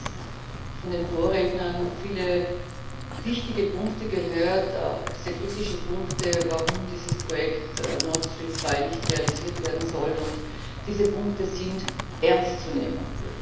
Wir haben jetzt von den Vorrednern viele wichtige Punkte gehört, auch sehr kritische Punkte, warum dieses Projekt Nord Stream 2 nicht realisiert werden soll, und diese Punkte sind ernst zu nehmen!